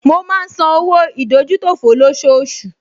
Mo máa ń san owó ìdójútòfò lọ́ṣooṣù